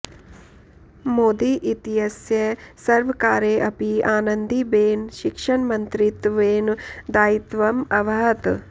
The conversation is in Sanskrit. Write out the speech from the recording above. मोदी इत्यस्य सर्वकारे अपि आनन्दीबेन शिक्षणमन्त्रित्वेन दायित्वम् अवहत्